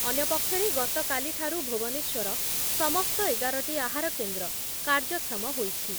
ଅନ୍ୟ ପକ୍ଷରେ ଗତକାଲିଠାରୁ ଭୁବନେଶ୍ଵର ସମସ୍ତ ଏଗାର ଟି ଆହାର କେନ୍ଦ୍ର କାର୍ଯ୍ୟକ୍ଷମ ହୋଇଛି